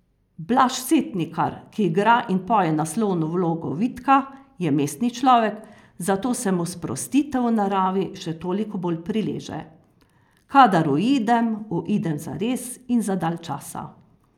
Blaž Setnikar, ki igra in poje naslovno vlogo Vidka, je mestni človek, zato se mu sprostitev v naravi še toliko bolj prileže: "Kadar uidem, uidem zares in za dalj časa.